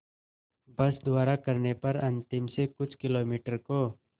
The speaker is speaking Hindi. बस द्वारा करने पर अंतिम से कुछ किलोमीटर को